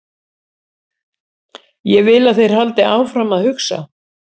Ég vil að þeir haldi áfram að hugsa.